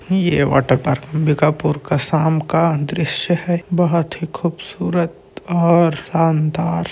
ये वाटरपार्क अंबिकापुर का शाम का दृश्य है बहुत ही खूबसूरत और शानदार--